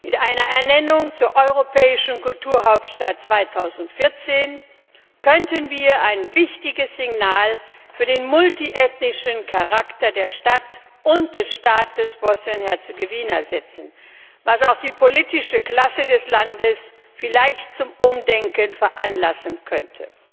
Mit einer Ernennung zur Europäischen Kulturhauptstadt 2014 könnten wir ein wichtiges Signal für den multiethnischen Charakter der Stadt und des Staates Bosnien Herzegowina setzen, was auch die politische Klasse des Landes vielleicht zum Umdenken veranlassen könnte.